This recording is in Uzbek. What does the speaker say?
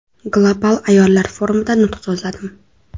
Global ayollar forumida nutq so‘zladim.